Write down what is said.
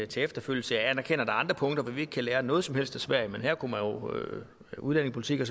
til efterfølgelse jeg anerkender at andre punkter hvor vi ikke kan lære noget som helst af sverige udlændingepolitikken